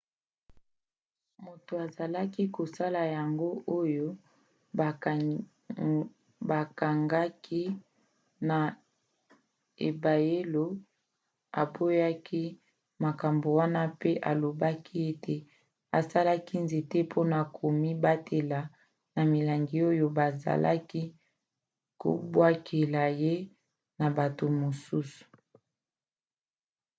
moto azalaki kosala yango oyo bakangaki na ebayelo aboyaki makambo wana mpe alobaki ete asalaki nzete mpona komibatela na milangi oyo bazalaki kobwakela ye na bato mosusu